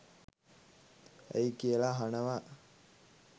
ඇයි කියලා අහනවා.